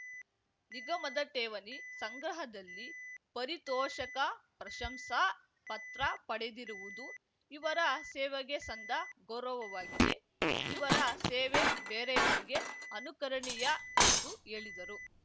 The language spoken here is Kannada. ನಿಗಮದ ಠೇವಣಿ ಸಂಗ್ರಹದಲ್ಲಿ ಪರಿತೋಷಕ ಪ್ರಶಂಸಾ ಪತ್ರ ಪಡೆದಿರುವುದು ಇವರ ಸೇವೆಗೆ ಸಂದ ಗೌರವವಾಗಿದೆ ಇವರ ಸೇವೆ ಬೇರೆಯವರಿಗೆ ಅನುಕರಣೀಯ ಎಂದು ಹೇಳಿದರು